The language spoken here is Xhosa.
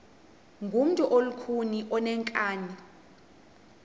ngumntu olukhuni oneenkani